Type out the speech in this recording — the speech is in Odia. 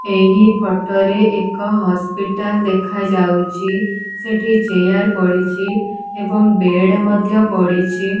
ଏହି ଫୋଟ ରେ ଏକ ହସ୍ପିଟାଲ ଦେଖା ଯାଉଚି ସେଠି ଚେୟାର ପଡ଼ିଚି ଏବଂ ବେଡ଼ ମଧ୍ୟ ପଡ଼ିଚି।